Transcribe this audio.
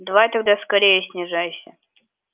давай тогда скорее снижайся